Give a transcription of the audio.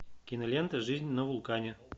кинолента жизнь на вулкане